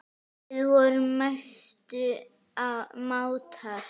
Við vorum mestu mátar.